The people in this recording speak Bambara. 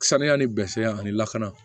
Saniya ni bɛɛ ani lakana